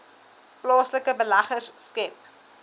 plaaslike beleggers skep